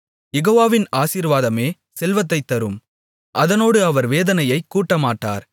யெகோவாவின் ஆசீர்வாதமே செல்வத்தைத் தரும் அதனோடு அவர் வேதனையைக் கூட்டமாட்டார்